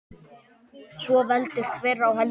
Svo veldur hver á heldur.